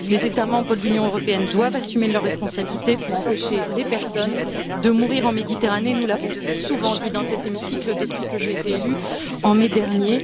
Les États membres de l'Union européenne doivent assumer leurs responsabilités pour empêcher que des personnes ne meurent en Méditerranée, nous l'avons souvent dit dans cet hémicycle depuis que j'ai été élue en mai dernier.